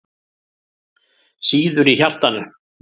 Sýður í hjartanu.